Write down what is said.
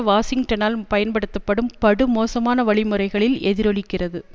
வாஷிங்டனால் பயன்படுத்தப்படும் படுமோசமான வழிமுறைகளில் எதிரொலிக்கிறது